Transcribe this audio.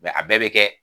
a bɛɛ bɛ kɛ